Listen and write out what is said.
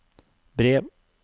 brev